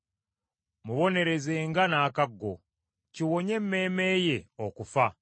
Mubonerezenga n’akaggo, kiwonye emmeeme ye okufa.